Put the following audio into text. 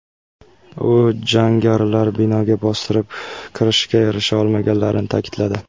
U jangarilar binoga bostirib kirishga erisha olmaganligini ta’kidladi.